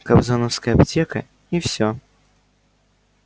кобзоновская аптека и все